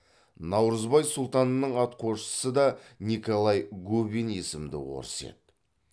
наурызбай сұлтанның атқосшысы да николай губин есімді орыс еді